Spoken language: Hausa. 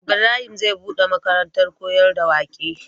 Ibrahim zai buɗe makarantar koyar da waƙe